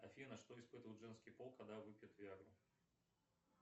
афина что испытывает женский пол когда выпьет виагру